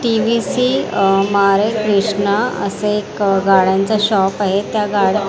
TVC अमारे कृष्णा असं एक गाड्यांचा शॉप आहे त्या गाड्या --